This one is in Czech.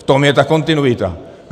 V tom je ta kontinuita.